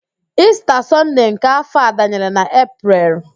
Ista Sọnde nke afọ a danyere na Epreel